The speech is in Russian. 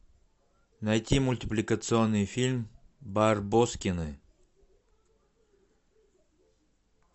найти мультипликационный фильм барбоскины